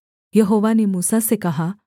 यहोवा ने मूसा से कहा